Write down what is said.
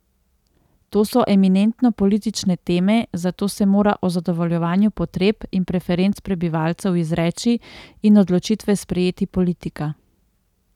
To so eminentno politične teme, zato se mora o zadovoljevanju potreb in preferenc prebivalcev izreči in odločitve sprejeti politika.